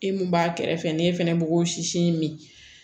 E mun b'a kɛrɛfɛ n'e fɛnɛ b'o sisi min